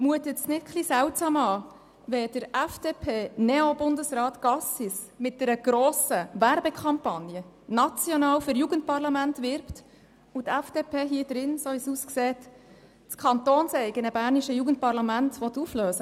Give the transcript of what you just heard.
Mutet es nicht etwas seltsam an, wenn der FDP-Bundesrat Cassis mit einer grossen Werbekampagne national für Jugendparlamente wirbt und die FDP in diesem Saal – so wie es aussieht – dabei helfen will, das kantonseigene bernische Jugendparlament aufzulösen?